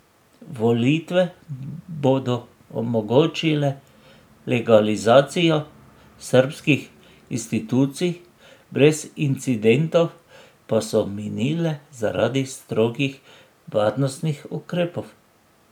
Volitve bodo omogočile legalizacijo srbskih institucij, brez incidentov pa so minile zaradi strogih varnostnih ukrepov.